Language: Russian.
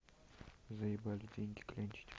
заебали деньги клянчить